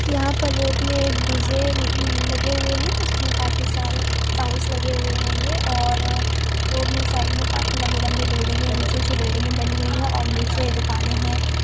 यहाँ पर रोड में एक डी.जे. ल लगे हुए हैं उसमें काफी सारे साउंडस लगे हुए हैंगे और रोड में साइड में काफी लंबी-लंबी बिल्डिंगे उची-उची बिल्डिंगे बनी हुई हैं और निचे दुकानें हैं।